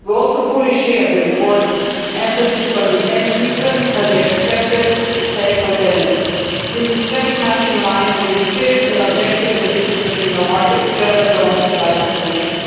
We also fully share the report's emphasis on the end user and expected societal benefits. This is very much in line with the spirit and objective of the digital single market agenda promoted by the Commission.